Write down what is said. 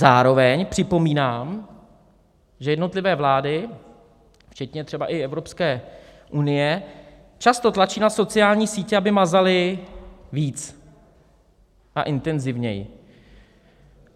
Zároveň připomínám, že jednotlivé vlády, včetně třeba i Evropské unie, často tlačí na sociální sítě, aby mazaly víc a intenzivněji.